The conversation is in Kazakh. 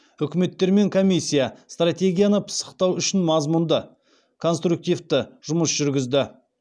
үкіметтер мен комиссия стратегияны пысықтау үшін мазмұнды конструктивті жұмыс жүргізді